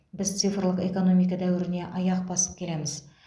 біз цифрлық экономика дәуіріне аяқ басып келеміз